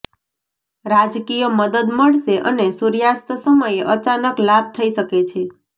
રાજકીય મદદ મળશે અને સૂર્યાસ્ત સમયે અચાનક લાભ થઈ શકે છે